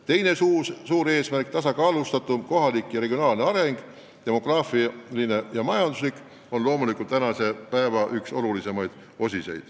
Teiseks: tasakaalustatum kohalik ja regionaalne areng, nii demograafiline kui ka majanduslik.